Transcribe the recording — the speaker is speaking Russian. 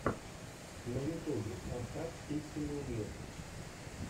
на ютубе поставь пиксельный мир